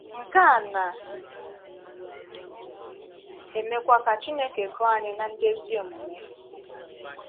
Nkè a na - emekwa ka Chineke gụọ̀ ànyị ná ndị ezí omume.